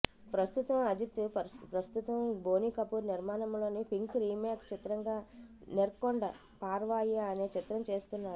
ప్రస్తుతం అజిత్ ప్రస్తుతం బోని కపూర్ నిర్మాణంలో పింక్ రీమేక్ చిత్రంగా నెర్కొండ పార్వాయి అనే చిత్రం చేస్తున్నాడు